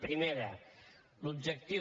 primera l’objectiu